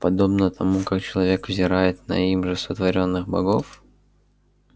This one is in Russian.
подобно тому как человек взирает на им же сотворённых богов